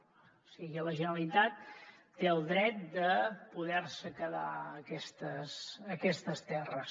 o sigui la generalitat té el dret de poder se quedar aquestes terres